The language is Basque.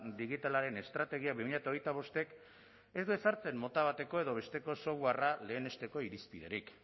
digitalaren estrategia bi mila hogeita bostek ez du ezartzen mota bateko edo besteko softwarea lehenesteko irizpiderik